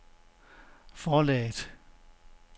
forlaget